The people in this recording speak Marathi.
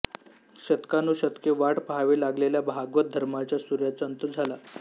शतकानुशतके वाट पहावी लागलेला भागवत धर्माच्या सूर्याच्या अंत झाला